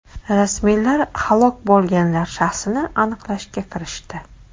Rasmiylar halok bo‘lganlar shaxsini aniqlashga kirishdi.